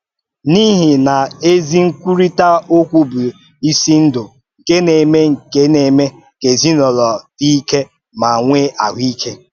N’ihi na ezi nkwúrị́tà okwu bụ isi ndụ nke na-eme nke na-eme ka ezinụlọ dị ike ma nwee àhụ́íke.